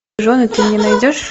жены ты мне найдешь